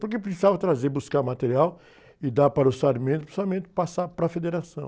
Porque precisava trazer, buscar material e dar para o, para o passar para a Federação.